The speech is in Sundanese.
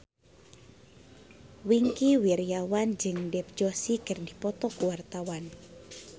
Wingky Wiryawan jeung Dev Joshi keur dipoto ku wartawan